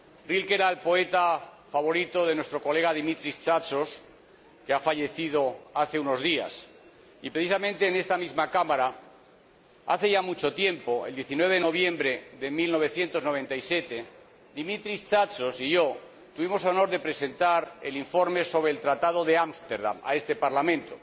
Rilke era el poeta favorito de nuestro colega Dimitris Tsatsos, que ha fallecido hace unos días y, precisamente en esta misma Cámara, hace ya mucho tiempo, el 19 de noviembre de 1997, Dimitris Tsatsos y yo tuvimos el honor de presentar el informe sobre el Tratado de Amsterdam a este Parlamento.